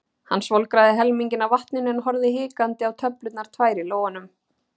Hann svolgraði helminginn af vatninu en horfði hikandi á töflurnar tvær í lófanum.